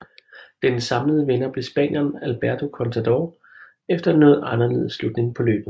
Den samlede vinder blev spanieren Alberto Contador efter en noget anderledes slutning på løbet